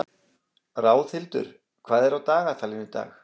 Ráðhildur, hvað er á dagatalinu í dag?